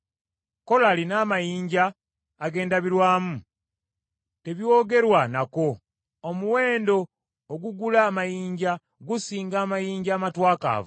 Kolali n’amayinja ag’endabirwamu tebyogerwa nako; omuwendo ogugula amagezi gusinga amayinja amatwakaavu.